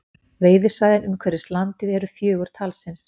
Veiðisvæðin umhverfis landið eru fjögur talsins